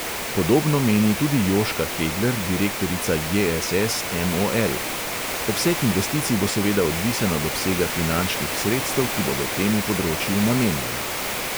Podobno meni tudi jožka hegler, direktorica JSS MOL: "obseg investicij bo seveda odvisen od obsega finančnih sredstev, ki bodo temu področju namenjena."